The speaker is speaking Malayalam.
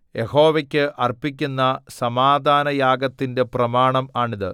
യഹോവയ്ക്ക് അർപ്പിക്കുന്ന സമാധാനയാഗത്തിന്റെ പ്രമാണം ആണിത്